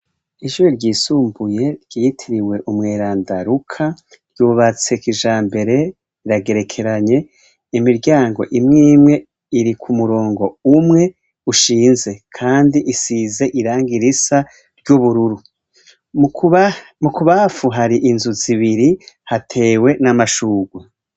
Ijuri ryisumbuye ryitiriwe umweranda ruka ryubatseka kijambere iragerekeranye imiryango imw imwe iri ku murongo umwe ushinze, kandi isize iranga irisa ry'ubururu mu kubafu hari inzu zibiri hatewe n' amashurwa.